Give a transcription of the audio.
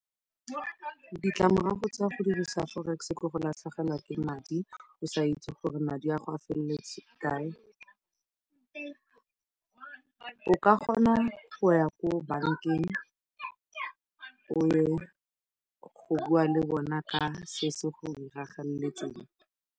Ditlamorago tsa go dirisa Forex ke go latlhegelwa ke madi, o sa itse gore madi a gago a feletse kae. O ka kgona go ya ko bankeng o ya go bua le bona ka se se go diragaletseng.